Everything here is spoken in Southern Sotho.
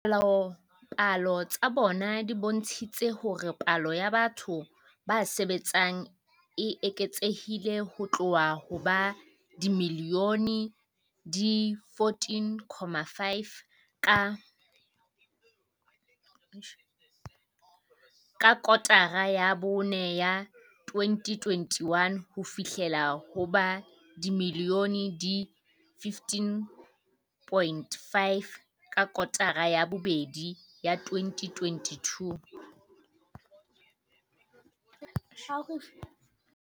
Dipalopalo tsa bona di bontshitse hore palo ya batho ba sebetsang e eketsehile ho tloha ho ba dimilione di 14.5 ka kotara ya bone ya 2021 ho fihlela ho ba dimilione di 15.5 ka kotara ya bobedi ya 2022.